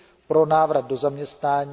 pro návrat do zaměstnání.